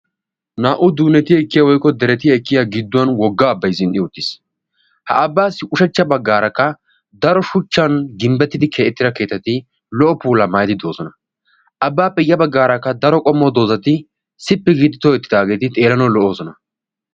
naa'u duuneti ekkiyaa woykko deretti ekkiyaa gidduwaan wogga abbay zeeretti uttiis. ha abbaassi ushshacha baggaaraka daro shuuchchan ginbbetida keexxitidaa keettatti lo"o puulaa maayidi doosona. abbappe ya baggaaraka daro qommo doozzati siiti giidi tookketidaageti xeellanawu lo"oosona.